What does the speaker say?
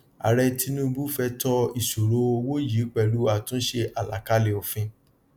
aàrẹ tinubu fẹ tọ ìṣòro owó yìí pẹlú àtúnṣe àlàkalẹ òfin